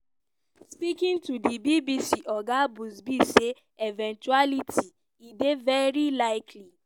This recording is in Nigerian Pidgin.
speaking to di bbc oga buzbee say eventuality e dey "veri likely".